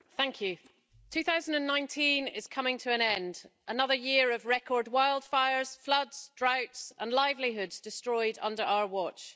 Madam President, 2019 is coming to an end, another year of record wildfires, floods, droughts and livelihoods destroyed under our watch.